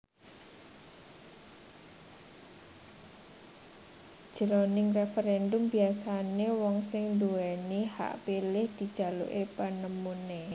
Jroning referendum biasané wong sing nduwèni hak pilih dijaluki panemuné